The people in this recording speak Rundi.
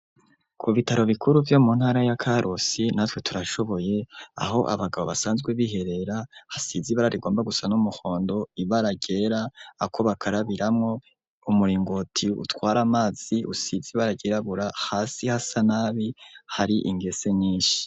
Ku bitaro bikuru, vyo mu ntara ya Karusi, Natwe Turashoboye, aho abagabo basanzwe biherera, hasize ibara rigomba gusa n'umuhondo, ibara ryera, ako bakarabiramwo, umuringoti utwara amazi usize ibara ryirabura, hasi hasa nabi, hari ingese nyinshi.